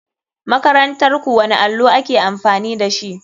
Makarantarku wani allo ake amfani dashi.